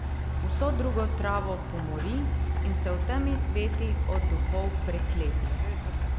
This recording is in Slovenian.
Vso drugo travo pomori in se v temi sveti od duhov prekletih.